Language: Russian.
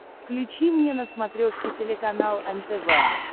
включи мне на смотрешке телеканал нтв